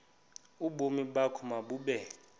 ubomi bakho mabube